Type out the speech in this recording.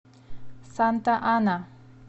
санта ана